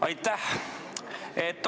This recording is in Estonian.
Aitäh!